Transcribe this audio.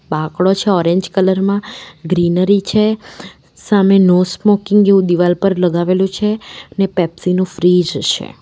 બાકડો છે orange colour માં greenery છે સામે નો સ્મોકિંગ જેવું દિવાલ પર લગાવેલું છે ને પેપ્સી નું ફ્રીજ છે.